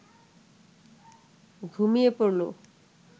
ঘুমিয়ে পড়ল